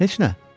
Heç nə.